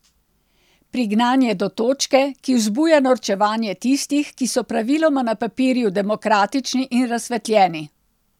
Prignan je do točke, ki vzbuja norčevanje tistih, ki so praviloma na papirju demokratični in razsvetljeni.